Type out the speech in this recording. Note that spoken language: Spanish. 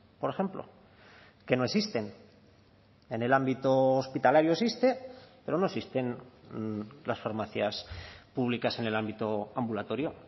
por ejemplo que no existen en el ámbito hospitalario existe pero no existen las farmacias públicas en el ámbito ambulatorio